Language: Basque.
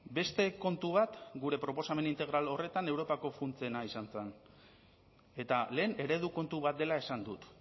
beste kontu bat gure proposamen integral horretan europako funtsena izan zen eta lehen eredu kontu bat dela esan dut